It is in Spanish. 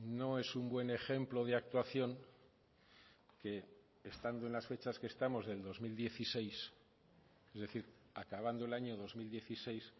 no es un buen ejemplo de actuación que estando en las fechas que estamos del dos mil dieciséis es decir acabando el año dos mil dieciséis